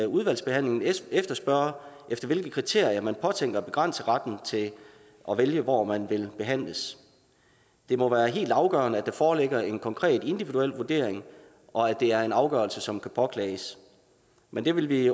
udvalgsbehandlingen spørge efter hvilke kriterier man påtænker at begrænse retten til at vælge hvor man vil behandles det må være helt afgørende at der foreligger en konkret individuel vurdering og at det er en afgørelse som kan påklages men det vil vi